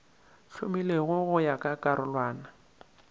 hlomilwego go ya ka karolwana